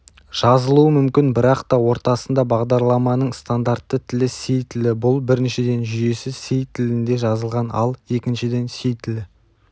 жазылуы мүмкін бірақ та ортасында бағдарламаның стандартты тілі си тілі бұл біріншіден жүйесі си тілінде жазылған ал екіншіден си тілі